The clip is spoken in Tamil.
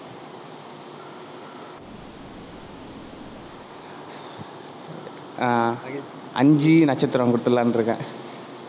ஆஹ் ஐந்து நட்சத்திரம் கொடுத்திடலாம்னு இருக்கேன்.